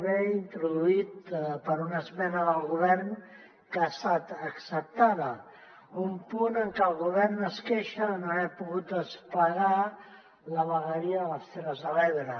b introduït per una esmena del go·vern que ha estat acceptada un punt en que el govern es queixa de no haver pogut desplegar la vegueria de les terres de l’ebre